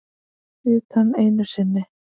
Utan einu sinni.